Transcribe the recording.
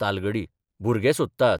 तालगडी भुरगे सोदतात.